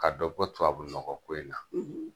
Ka dɔ bɔ tubabu nɔgɔ ko in na.